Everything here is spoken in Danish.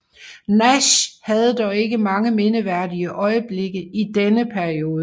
Nash havde dog ikke mange mindeværdige øjeblikke i denne periode